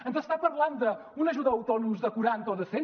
ens està parlant d’una ajuda a autònoms de quaranta o de cent